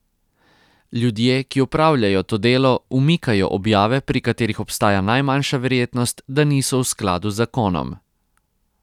Ljudje, ki opravljajo to delo, umikajo objave, pri katerih obstaja najmanjša verjetnost, da niso v skladu z zakonom.